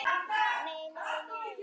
NEI, NEI, NEI.